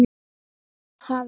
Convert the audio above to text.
Var það vel.